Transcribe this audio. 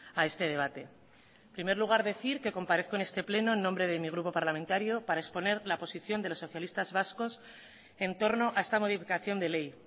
a este debate en primer lugar decir que comparezco en este pleno en nombre de mi grupo parlamentario para exponer la posición de los socialistas vascos entorno a esta modificación de ley